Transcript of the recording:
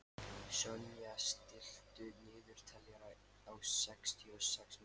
Sonja, stilltu niðurteljara á sextíu og sex mínútur.